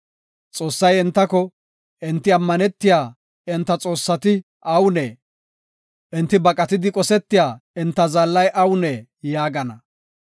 Xoossay entako, “Enti ammanetiya enta xoossati awunee? Enti baqatidi qosetiya enta zaallay awunee?” yaagana.